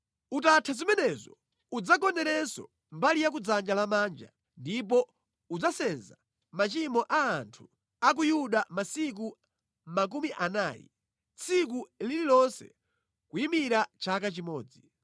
“Utatha zimenezo udzagonerenso mbali ya kudzanja lamanja, ndipo udzasenza machimo a anthu a ku Yuda masiku makumi anayi, tsiku lililonse kuyimira chaka chimodzi.